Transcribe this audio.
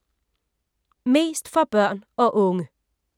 Mest for børn og unge